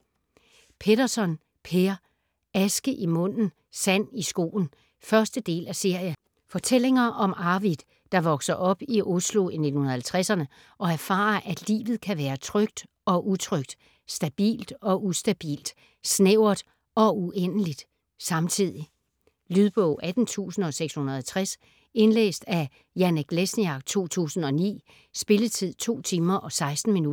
Petterson, Per: Aske i munden, sand i skoen 1. del af serie. Fortællinger om Arvid, der vokser op i Oslo i 1950'erne og erfarer, at livet kan være trygt og utrygt, stabilt og ustabilt, snævert og uendeligt - samtidig. Lydbog 18660 Indlæst af Janek Lesniak, 2009. Spilletid: 2 timer, 16 minutter.